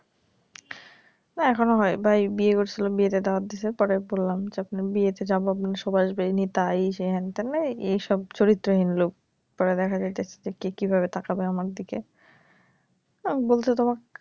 না এখনও হয় ভাই বিয়ে করছিল বিয়েতে দাওয়াত দিছে পরে বললাম যে আপনে বিয়েতে যাবো আপনার সব আসবেনি তাই এই সেই হেন হতেন এইসব চরিত্রহীন লোক পরে দেখা যাবে কে কিভাবে তাকাবে আমার দিকে বলছে তোমাকে